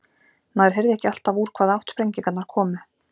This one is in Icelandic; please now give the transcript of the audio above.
Maður heyrði ekki alltaf úr hvaða átt sprengingarnar komu.